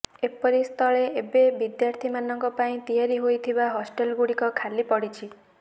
ଏପରିସ୍ଥଳେ ଏବେ ବିଦ୍ୟାର୍ଥୀ ମାନଙ୍କ ପାଇଁ ତିଆରି ହୋଇଥିବା ହଷ୍ଟେଲ ଗୁଡ଼ିକ ଖାଲି ପଡ଼ିଛି